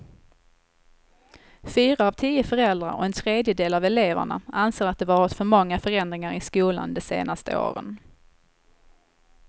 Fyra av tio föräldrar och en tredjedel av eleverna anser att det varit för många förändringar i skolan de senaste åren.